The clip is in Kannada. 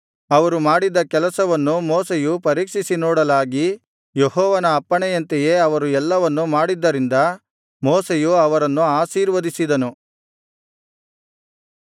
ಅವರು ಮಾಡಿದ್ದ ಕೆಲಸವನ್ನು ಮೋಶೆಯು ಪರೀಕ್ಷಿಸಿ ನೋಡಲಾಗಿ ಯೆಹೋವನ ಅಪ್ಪಣೆಯಂತೆಯೇ ಅವರು ಎಲ್ಲವನ್ನು ಮಾಡಿದ್ದರಿಂದ ಮೋಶೆಯು ಅವರನ್ನು ಆಶೀರ್ವದಿಸಿದನು